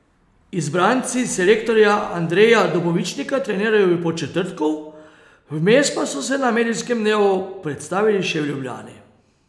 Izbranci selektorja Andreja Dobovičnika trenirajo v Podčetrtku, vmes pa so se na medijskem dnevu predstavili še v Ljubljani.